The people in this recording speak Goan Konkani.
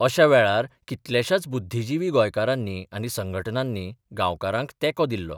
अश्या वेळार कितल्याशाच बुद्धिजिवी गोंयकारांनी आनी संघटनांनी गांवकारांक तेंको दिल्लो.